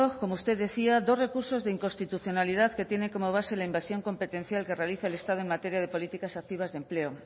como usted decía dos recursos de inconstitucionalidad que tienen como base la inversión competencial que realiza el estado en materia de políticas activas de empleo